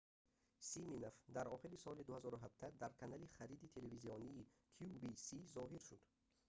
симинов дар охири соли 2017 дар канали хариди телевизионии qvc зоҳир шуд